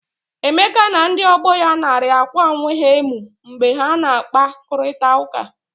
Emeka na ndi ọgbọ ya narị akwa onwe ha emu mgbe ha na akpa, kụrịta ụka.